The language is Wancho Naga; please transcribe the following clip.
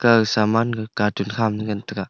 ga saman katuk khama ngan taga.